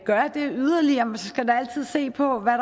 gøre det yderligere skal man da altid se på hvad